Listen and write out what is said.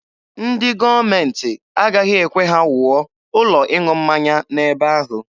Ndị gọọmenti agaghị ekwe ha wuo ụlọ ịṅụ mmanya n'ebe ahụ.